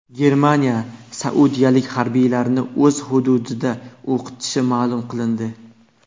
Germaniya saudiyalik harbiylarni o‘z hududida o‘qitishi ma’lum qilindi.